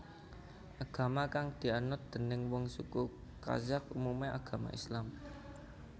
Agama kang dianut déning wong suku Kazakh umumé agama Islam